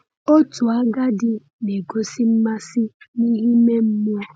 Otu agadi na-egosi mmasị n’ihe ime mmụọ.